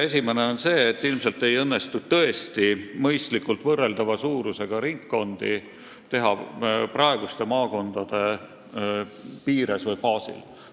Esiteks see, et ilmselt ei õnnestu tõesti mõistlikult võrreldava suurusega ringkondi teha praeguste maakondade piires või baasil.